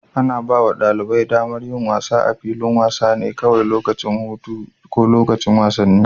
Ana ba wa ɗalibai damar yin wasa a filin wasa ne kawai lokacin hutu ko lokacin wasanni.